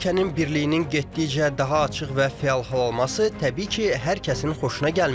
Üç ölkənin birliyinin getdikcə daha açıq və fəal hal alması təbii ki, hər kəsin xoşuna gəlmir.